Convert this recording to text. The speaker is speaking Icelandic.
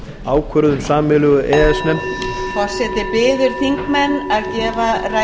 ákvörðun sameiginlegu e e s nefndarinnar forseti biður þingmenn að gefa ræðumanni hljóð